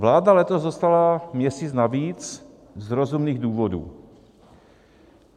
Vláda letos dostala měsíc navíc z rozumných důvodů.